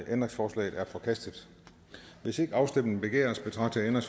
ændringsforslaget er forkastet hvis ikke afstemning begæres betragter jeg